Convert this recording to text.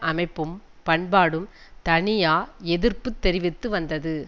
அமைப்பும் பண்பாடும் தனியா எதிர்ப்பு தெரிவித்து வந்தது